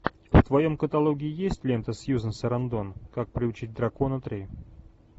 в твоем каталоге есть лента сьюзан сарандон как приручить дракона три